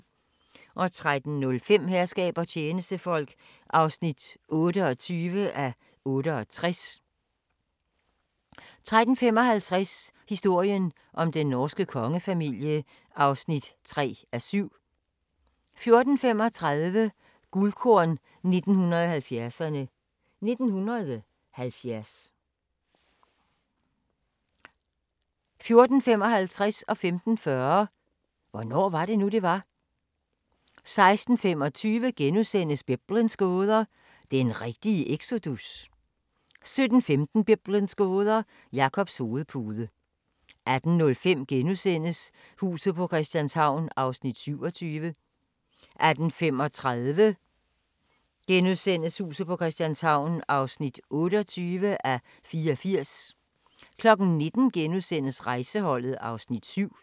13:05: Herskab og tjenestefolk (28:68) 13:55: Historien om den norske kongefamilie (3:7) 14:35: Guldkorn 1970'erne: 1970 14:55: Hvornår var det nu, det var? * 15:40: Hvornår var det nu, det var? 16:25: Biblens gåder – den rigtige exodus? * 17:15: Biblens gåder – Jakobs hovedpude 18:05: Huset på Christianshavn (27:84)* 18:35: Huset på Christianshavn (28:84)* 19:00: Rejseholdet (Afs. 7)*